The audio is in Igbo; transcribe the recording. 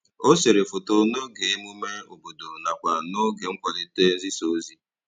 O sere foto n'oge emume obodo nakwa n'oge nkwalite nzisaozi